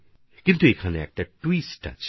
কিন্তু এখানে সামান্য ট্যুইস্ট আছে